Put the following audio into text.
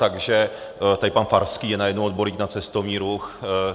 Takže teď pan Farský je najednou odborník na cestovní ruch.